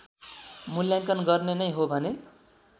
मुल्याङ्कन गर्ने नै हो भने